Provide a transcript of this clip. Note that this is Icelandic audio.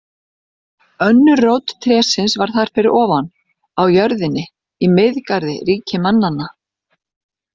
Önnur rót trésins var þar fyrir ofan, á jörðinni, í Miðgarði ríki mannanna.